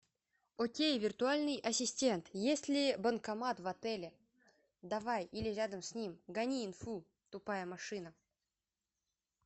окей виртуальный ассистент есть ли банкомат в отеле давай или рядом с ним гони инфу тупая машина